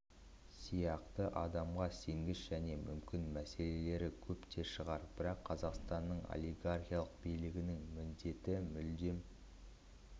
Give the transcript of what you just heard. сияқты адамға сенгіш және мүмкін мәселелері көп те шығар бірақ қазақстанның олигархиялық билігінің міндеті мүлдем